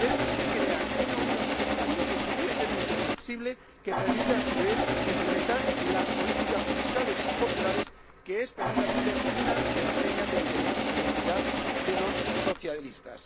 Debemos crear una unión fiscal lo suficientemente flexible para que, a su vez, se puedan implementar las políticas fiscales populares, que son precisamente una de las señas de identidad de los socialistas.